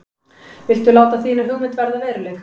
Viltu láta þína hugmynd verða að veruleika?